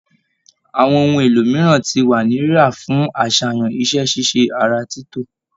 Àwọn ohun èlò mìíràn ti wà ní rírà fún aṣayan iṣẹ-ṣíṣe ara títò